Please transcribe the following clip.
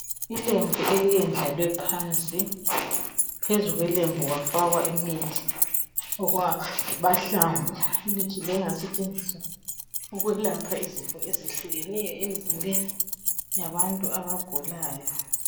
Ilembu eliyendlalwe phansi, phezu kwelembu kwafakwa imithi okungamahlamvu, imithi le engasetshenziswa ukulapha izifo ezihlukeneyo emzimbeni yabantu abagulayo.